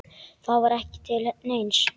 Það var ekki til neins.